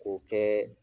K'o kɛ